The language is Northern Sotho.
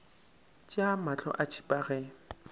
tšea mahlo a tšhipa ge